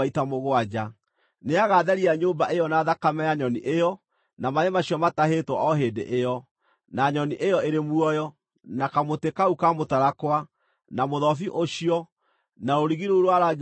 Nĩagatheria nyũmba ĩyo na thakame ya nyoni ĩyo, na maaĩ macio matahĩtwo o hĩndĩ ĩyo, na nyoni ĩyo ĩrĩ muoyo, na kamũtĩ kau ka mũtarakwa, na mũthobi ũcio, na rũrigi rũu rwa rangi wa gakarakũ.